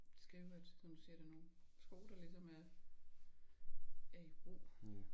Skrive at som du siger det er nogen sko der ligesom er er i brug